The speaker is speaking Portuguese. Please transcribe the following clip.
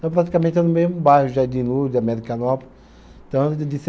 Então, praticamente, é no mesmo bairro, Jardim Lula, de Americanópolis. Então